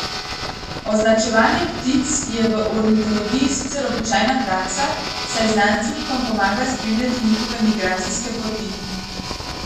Označevanje ptic je v ornitologiji sicer običajna praksa, saj znanstvenikom pomaga spremljati njihove migracijske poti.